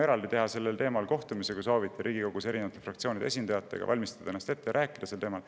Me võime teha sel teemal eraldi kohtumise, kui soovite, Riigikogus erinevate fraktsioonide esindajatega, valmistan end ette ja räägime sel teemal.